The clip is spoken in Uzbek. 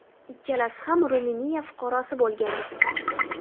Ikkisi ham Ruminiya fuqarosi bo‘lgan.